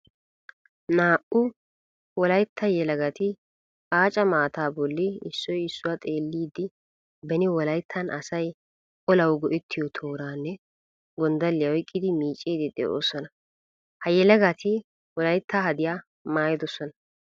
Naa"u wolaytta yelagatti aaca maata bolla issoy issuwa xeellidde beni wolayttan asay olawu go'ettiyo tooranne gondalliya oyqqiddi miicciddi de'osonna. Ha yelagatti wolaytta hadiya maayidosona.